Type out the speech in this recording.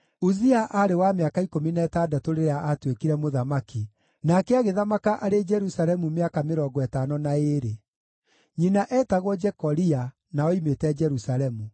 Uzia aarĩ wa mĩaka ikũmi na ĩtandatũ rĩrĩa aatuĩkire mũthamaki, nake agĩthamaka arĩ Jerusalemu mĩaka mĩrongo ĩtano na ĩĩrĩ. Nyina eetagwo Jekolia, na oimĩte Jerusalemu.